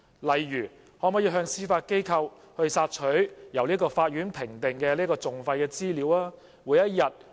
例如，可否向司法機構索取由法院評定的訟費資料？